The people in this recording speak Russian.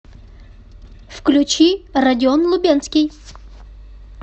включи родион лубенский